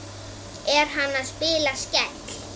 Er hann að spila Skell?